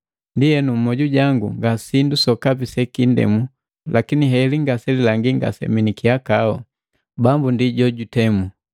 Ndienu mmoju jangu nga sindu sokapi sekindemu, lakini heli ngaselilangi ngasemi ni kihakau. Bambu ndi jojundemu.